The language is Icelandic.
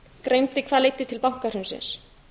greindi hvað leiddi til bankahrunsins